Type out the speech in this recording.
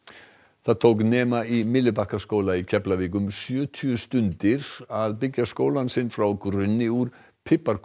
það tók nema í Myllubakkaskóla í Keflavík um sjötíu stundir að byggja skólann sinn frá grunni úr